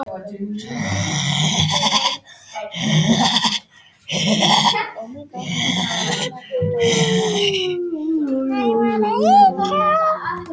Allt umhverfis voru dimmblá og mórauð fjöll undir heiðbláum himni